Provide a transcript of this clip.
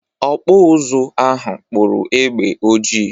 Ọkpụ ụzụ ahụ kpụrụ egbe ojii.